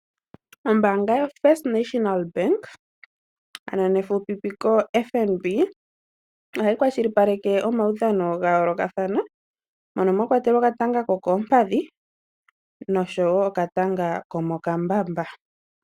Ombaanga yoFirst National Bank ano nefufupiko FNB, ohai kwashilipaleke omaudhano ga yoolokathana mono mwa kwatelwa okatanga ko koompadhi noshowo okatanga komokambamba.